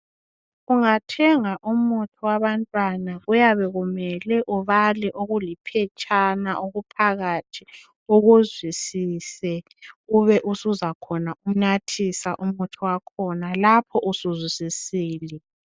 ungathenga umuthi wabantwana kuyabe kumele ubale okuliphetshana okuphakathi ukuzwisise ube usuzakhona umnathisa umuthi wakhona lapho usuzwisisile